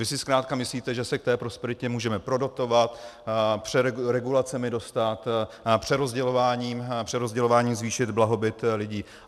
Vy si zkrátka myslíte, že se k té prosperitě můžeme prodotovat, regulacemi dostat, přerozdělováním zvýšit blahobyt lidí.